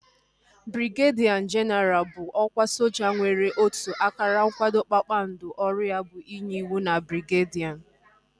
Brigedia jenaral bụ ọkwa soja nwere otu akara nkwado kpakpando ọrụ ya bụ inye ịwụ na brigedi